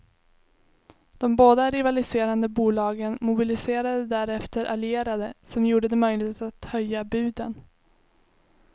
De båda rivaliserande bolagen mobiliserade därefter allierade som gjorde det möjligt att höja buden.